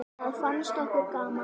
Það fannst okkur gaman.